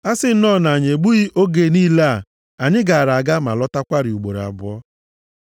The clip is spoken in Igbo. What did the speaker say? A sị nnọọ na anyị egbughị oge niile a, anyị gaara aga ma lọtakwarị ugboro abụọ.”